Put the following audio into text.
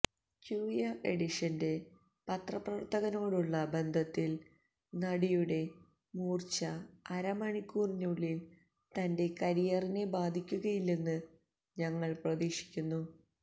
cure എഡിഷന്റെ പത്രപ്രവർത്തകനോടുള്ള ബന്ധത്തിൽ നടിയുടെ മൂർച്ച അരമണിക്കൂറിനുള്ളിൽ തന്റെ കരിയറിനെ ബാധിക്കുകയില്ലെന്ന് ഞങ്ങൾ പ്രതീക്ഷിക്കുന്നു